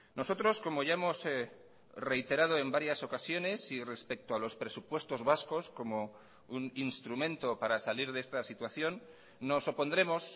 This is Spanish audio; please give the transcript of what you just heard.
nosotros como ya hemos reiterado en varias ocasiones y respecto a los presupuestos vascos como un instrumento para salir de esta situación nos opondremos